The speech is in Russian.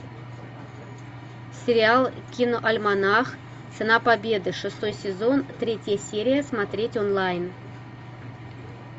сериал киноальманах цена победы шестой сезон третья серия смотреть онлайн